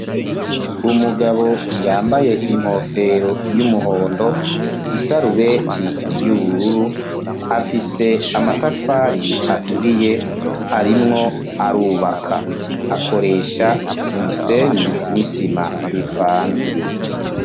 Umugabo, yambaye inkofero, y'umuhondo, isarubeti y'ubururu; afise amatafari aturiye, arimwo arubaka; akoresha umusenyi n'isima, bivanze.